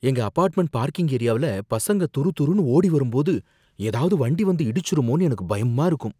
எங்க apartment parking ஏரியாவுல பசங்க துருந்துருன்னு ஓடி வரும்போது ஏதாவது வண்டி வந்து இடிச்சுருமோன்னு எனக்கு பயமா இருக்கு.